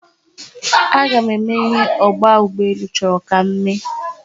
A ga m eme ihe ogba ugboelu choro ka m mee.